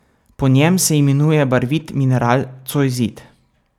Po njem se imenuje barvit mineral cojzit.